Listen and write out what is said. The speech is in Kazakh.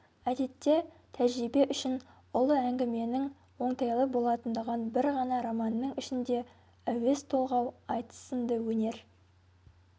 әдетте тәжірибе үшін ұлы әңгіменің оңтайлы болатындығын бір ғана романның ішінде әуез толғау айтыс сынды өнер